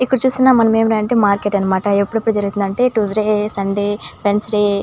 ఇక్కడ చూస్తున్నాం మనం ఏమిటంటే మార్కెట్ అన్నమాట ఎప్పుడెప్పుడు జరుగుతుందంటే ట్యూస్డే సండే వెన్సడే --